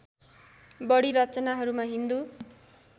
बढी रचनाहरूमा हिन्दू